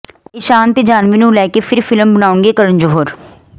ਈਸ਼ਾਨ ਤੇ ਜਾਨਹਵੀ ਨੂੰ ਲੈ ਕੇ ਫਿਰ ਫਿਲਮ ਬਣਾਉਣਗੇ ਕਰਨ ਜੌਹਰ